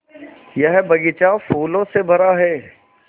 यह बग़ीचा फूलों से भरा है